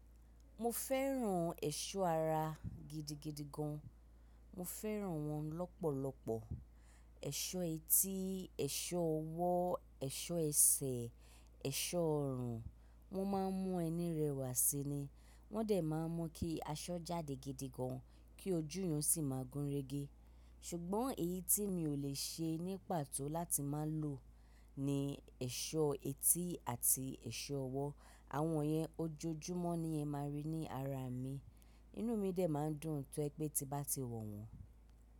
Mo fẹ́ràn ẹ̀ṣọ́ ara gidigidi gan. Mo fẹ́ràn wọ́n lọ́pọ̀lọpọ̀. Ẹ̀ṣọ́ etí, ẹ̀ṣọ́ ọwọ́, ẹ̀ṣọ́ ẹsẹ̀, ẹ̀ṣọ́ ọrùn. Wọ́n máa ń mú ẹni rẹwà síi ni. Wọ́n dẹ̀ máa ń mú kí aṣọ jáde gidigan, kí ojú eeyan sì má gúnrégé. Ṣùgbọ́n èyí tí mi ò lè ṣe ní pàtó láti máa lò ni ẹ̀ṣọ́ etí àti ẹ̀ṣọ́ ọwọ́. Àwọn iyẹn ojoojúmọ́ ni ẹ máa rí ní ara mi. Inú mi dẹ̀ máa ń dùn to je pé tí n bá ti wọ̀ wọ́n.